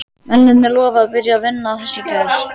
Mennirnir lofuðu að byrja að vinna að þessu í gær.